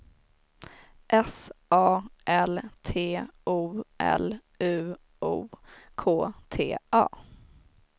S A L T O L U O K T A